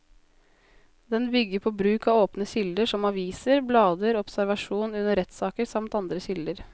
Den bygger på bruk av åpne kilder som aviser, blader, observasjon under rettssaker samt andre kilder.